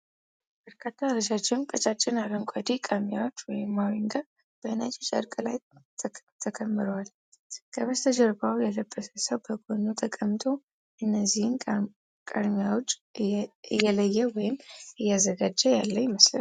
በርካታ ረዣዥምና ቀጫጭን አረንጓዴ ቃርሚያዎች (ሞሪንጋ) በነጭ ጨርቅ ላይ ተከምረዋል፤ ከበስተጀርባው የለበሰ ሰው በጎኑ ተቀምጦ እነኚህን ቃርሚያዎች እየለየ ወይም እያዘጋጀ ያለ ይመስላልን?